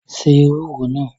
Se ewúro náà!